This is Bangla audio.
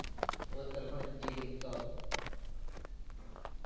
এবার তাহলেগিয়ে দেখতে হবে